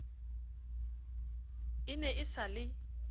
e ne e sa le